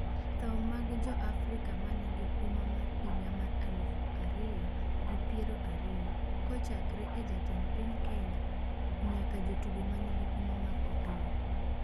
Tho mag Joafrika manigi huma mar higa mar aluf ariyo gi piero ariyo: Kochakre e jatend piny Kenya nyaka jotugo manigi huma mag opira